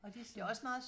Og det sådan